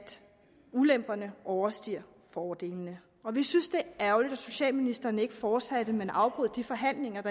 ulemperne overstiger fordelene vi synes det er ærgerligt at socialministeren ikke fortsatte men afbrød de forhandlinger